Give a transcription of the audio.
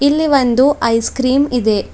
ಇಲ್ಲಿ ಒಂದು ice cream ಇದೆ.